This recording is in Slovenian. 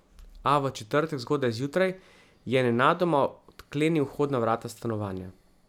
A v četrtek zgodaj zjutraj je nenadoma odklenil vhodna vrata stanovanja.